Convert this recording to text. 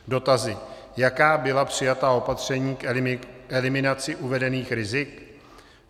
Dotazy: Jaká byla přijata opatření k eliminaci uvedených rizik?